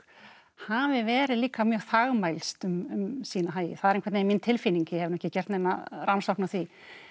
hafi verið líka mjög þagmælskt um sína hagi það er einhvern veginn mín tilfinning ég hef nú ekki gert neina rannsókn á því